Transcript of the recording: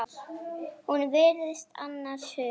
Hún virtist annars hugar.